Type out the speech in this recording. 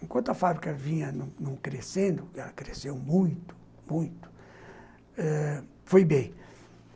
Enquanto a fábrica vinha crescendo, ela cresceu muito, muito ãh, foi bem.